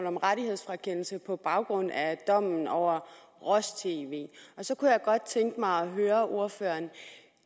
om rettighedsfrakendelse på baggrund af dommen over roj tv og så kunne jeg godt tænke mig at høre ordføreren